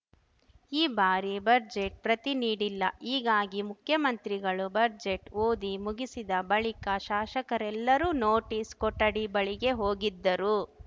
ಈ ಬಾರಿ ಬಜೆಟ್‌ ಪ್ರತಿ ನೀಡಿಲ್ಲ ಹೀಗಾಗಿ ಮುಖ್ಯಮಂತ್ರಿಗಳು ಬಜೆಟ್‌ ಓದಿ ಮುಗಿಸಿದ ಬಳಿಕ ಶಾಸಕರೆಲ್ಲರೂ ನೋಟಿಸ್‌ ಕೊಠಡಿ ಬಳಿಗೆ ಹೋಗಿದ್ದರು